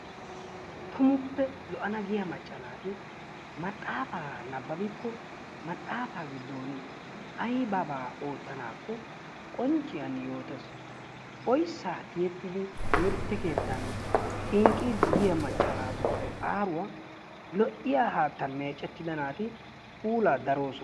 Tummuppe lo'ana hiya macca naati maxaafaa nababbikko maxaafaa gidooni aybaabaa ootanaakko qoncciyani yootees, oysaa tiyettidi timirte keettaa xinqiidi yiya macca naatupope aaruwa lo'iya haattan meecettida naati puulaa darosona.